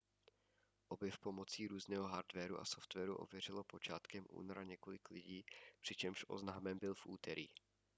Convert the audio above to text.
objev pomocí různého hardwaru a softwaru ověřilo počátkem února několik lidí přičemž oznámen byl v úterý